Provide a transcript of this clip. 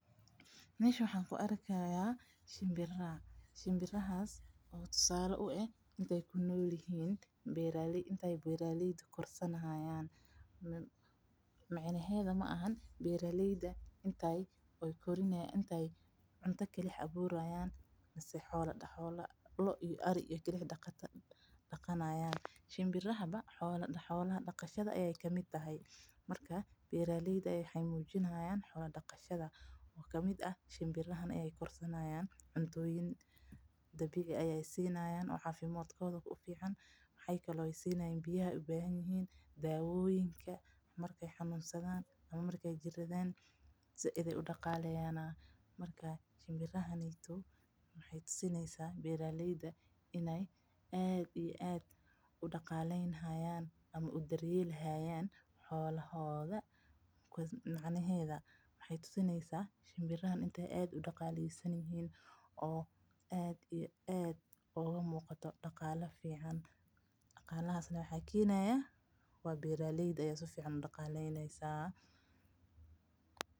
Meshan waxaan kuarkihayaa shimbira shimbirahas oo tusale uah intey kunoolyihin intey beeraleyda korsanihayaan micanheedha maaxan beeraleyda intey cunta kalix abuurayan mise xoola loo iyo ari kalixi daqanayaan. shimbiraha ba xooladataha ayee kamid tahay, markaa beeraleyda waxey muuhijnhayaan xoola daqatadha oo kamid ah shimbiraha ayee korsanhayaan cuntooyin dabiica ayee sinayan oo caafimadkoodha ufican maxakale ey sinayaan biyaha ubaahan yihin daaboyinka markey xanuunsadha ama markey jiradha said ayee udaqaleyaana. Marka shimbirahani maxay tusineysa beeraleyda in ey aad iyo aad udaqalenhayan ama udaryelhayan xoolahoodha macanaheedha maxey tusineysa shimbirahan in ey aad udaqalesanyihin oo aad iyo aad ugamuuqato daqala fican daqaa; ahas neh waxaa kenaya waa beeraleyda aya sifican udaqaleynihaysaa.